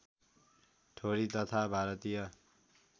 ठोरी तथा भारतीय